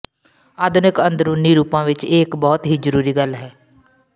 ਆਧੁਨਿਕ ਅੰਦਰੂਨੀ ਰੂਪਾਂ ਵਿੱਚ ਇਹ ਇੱਕ ਬਹੁਤ ਹੀ ਜ਼ਰੂਰੀ ਗੱਲ ਹੈ